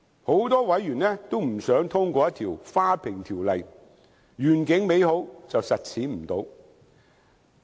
很多委員都不想通過一項"花瓶條例"——願景美好，實踐不到。